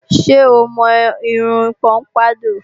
Ṣé o mọ irun pọ́mpádọ̀?